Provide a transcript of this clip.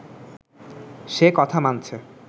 সে কথা মানছে